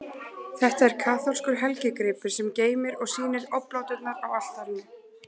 Þetta er kaþólskur helgigripur, sem geymir og sýnir obláturnar á altarinu.